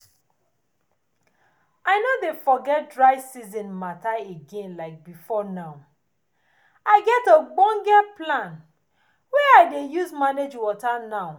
even when dry season don come my vegetable dey always dey gidigbam and na because say i dey use beta things dey cover am well well